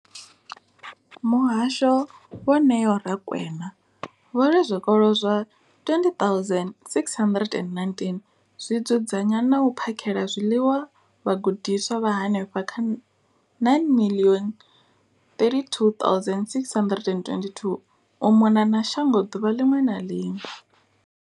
Muhasho, Vho Neo Rakwena, vho ri zwikolo zwa 20 619 zwi dzudzanya na u phakhela zwiḽiwa vhagudiswa vha henefha kha 9 032 622 u mona na shango ḓuvha ḽiṅwe na ḽiṅwe.